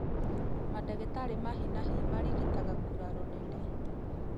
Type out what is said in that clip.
Mandagĩtarĩ a hi na hi marigitaga nguraro nene